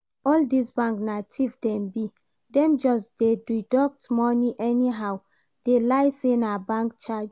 All this banks na thief dem be, dem just dey deduct money anyhow dey lie say na bank charge